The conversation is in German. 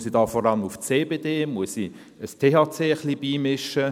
– Muss ich da vor allem auf CBD setzen, muss ich etwas THC beimischen?